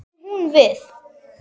Hvað átti hún við?